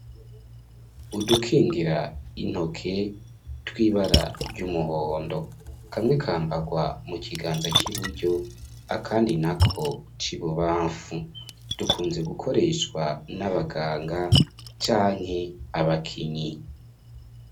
Udukingira intoke tw'ibara ry'umuhondo, kamwe kambarwa mu kiganza c'iburyo akandi nako c'ibubamfu, dukunze gukoreshwa n'abaganga canke abakinyi.